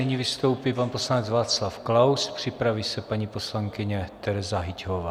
Nyní vystoupí pan poslanec Václav Klaus, připraví se paní poslankyně Tereza Hyťhová.